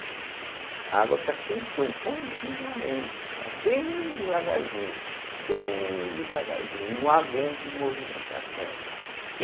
A água está sempre correndo continuamente, mas bem devagarzinho, bem devagarzinho, não há grande movimentação.